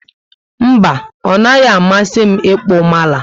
Mba, onaghi amasi m ịkpụ mala